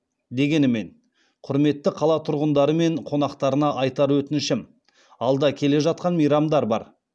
дегенімен құрметті қала тұрғындары мен қонақтарына айтар өтінішім алда келе жатқан мейрамдар бар